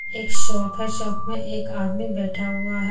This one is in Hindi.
एक शॉप है शॉप में एक आदमी बैठा हुआ है।